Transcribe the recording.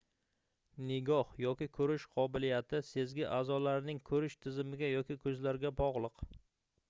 nigoh yoki koʻrish qobiliyati sezgi aʼzolarining koʻrish tizimiga yoki koʻzlarga bogʻliq